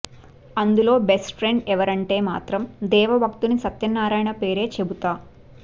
అందులో best friend ఎవరంటే మాత్రం దేవ భక్తుని సత్యనారాయణ పేరే చెబుతా